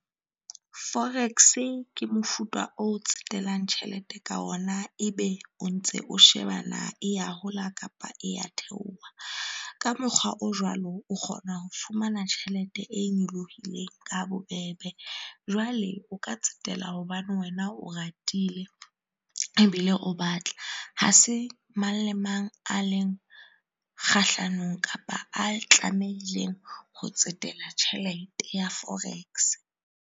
Forex ke mofuta o tsetelang tjhelete ka ona ebe o ntse o sheba na e ya hola kapa ya theoha. Ka mokgwa o jwalo, o kgona ho fumana tjhelete e nyolohileng ka bobebe. Jwale o ka tsetela hobane wena o ratile ebile o batla ha se mang le mang a leng kgahlanong kapa a tlamehileng ho tsetela tjhelete ya forex.